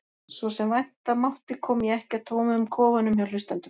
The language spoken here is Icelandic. Svo sem vænta mátti kom ég ekki að tómum kofunum hjá hlustendum.